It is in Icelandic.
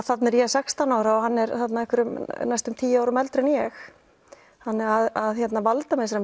þarna er ég sextán ára og hann er næstum tíu árum eldri en ég þannig að